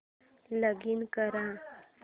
login कर